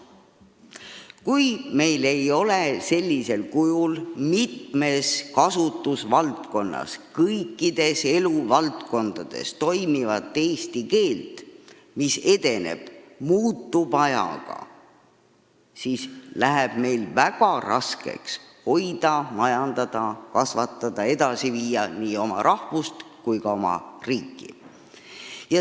Kui meil ei ole mitmes kasutusvaldkonnas, tegelikult kõikides eluvaldkondades toimivat eesti keelt, mis edeneb ja muutub ajaga, siis läheb meil väga raskeks hoida, majandada, kasvatada ja edasi viia nii oma rahvust kui ka oma riiki.